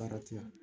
Baara tɛ yan